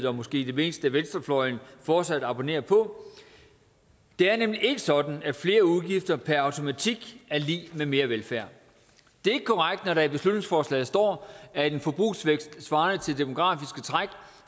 og måske det meste af venstrefløjen fortsat abonnerer på det er nemlig ikke sådan at flere udgifter per automatik er lig med mere velfærd det er ikke korrekt når der i beslutningsforslaget står at en forbrugsvækst svarende til demografiske træk